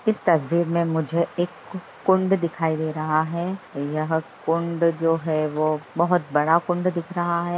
इस तस्वीर में मुझे एक कुंड दिखाई दे रहा है यह कुंड जो है वो बहुत बड़ा कुंड दिख रहा है।